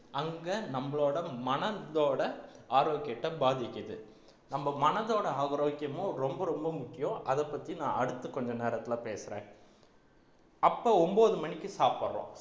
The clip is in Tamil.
அங்க நம்மளோட மனதோட ஆரோக்கியத்தை பாதிக்குது நம்ம மனதோட ஆரோக்கியமும் ரொம்ப ரொம்ப முக்கியம் அதைப் பத்தி நான் அடுத்து கொஞ்ச நேரத்திலே பேசுறேன் அப்போ ஒன்பது மணிக்கு சாப்பிடுறோம்